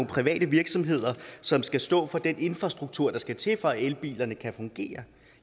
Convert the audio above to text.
private virksomheder som skal stå for den infrastruktur der skal til for at elbilerne kan fungere